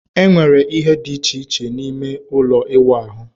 Enwere ihe dị iche iche n'ime ime ụlọ ịwụ ahụ